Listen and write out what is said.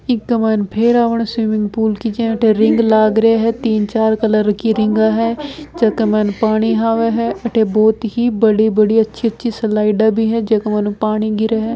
इक मायने फेरा वरो स्विमिंग पूल की जे अठे रिंग लाग रही है तीन चार कलर की रिंग है जका मायने पानी आवे है अठे बहुत ही बड़ी बड़ी अच्छी अच्छी स्लाइडा भी है जका मायनु पानी गिरे है।